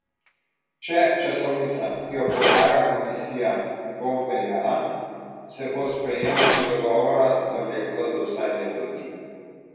Če časovnica, ki jo predlaga komisija, ne bo obveljala, se bo sprejemanje dogovora zavleklo za vsaj leto dni.